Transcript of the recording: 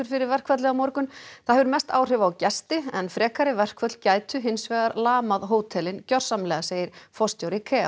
fyrir verkfallið á morgun það hefur mest áhrif á gesti en frekari verkföll gætu hins vegar lamað hótelin gjörsamlega segir forstjóri